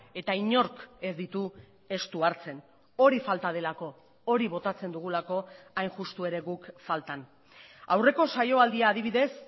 eta inork ez ditu estu hartzen hori falta delako hori botatzen dugulako hain justu ere guk faltan aurreko saio aldia adibidez